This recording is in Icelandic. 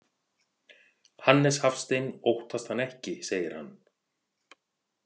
Hannes Hafstein óttast hann ekki, segir hann.